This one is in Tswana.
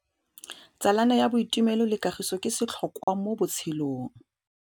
Tsalano ya boitumelo le kagiso ke setlhôkwa mo botshelong.